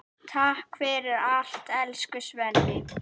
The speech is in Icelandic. Takk fyrir allt, elsku Svenni.